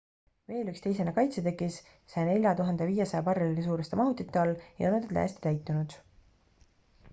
veel üks teisene kaitsetõkis 104 500 barreli suuruste mahutite all ei olnud veel täiesti täitunud